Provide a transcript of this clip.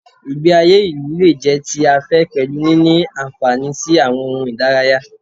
Ìgbé ayé ìlú lè jẹ́ ti afẹ́ pẹ̀lú níní àǹfààní sí àwọn ohun ìdárayá.